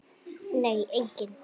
Nei, enginn